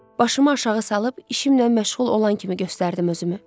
Başımı aşağı salıb işimlə məşğul olan kimi göstərdim özümü.